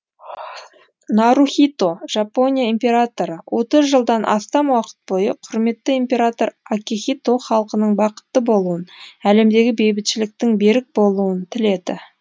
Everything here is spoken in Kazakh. нарухито жапония императоры отыз жылдан астам уақыт бойы құрметті император акихито халқының бақытты болуын әлемдегі бейбітшіліктің берік болуын тіледі